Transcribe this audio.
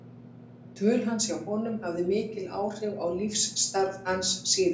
Dvöl hans hjá honum hafði mikil áhrif á lífsstarf hans síðar.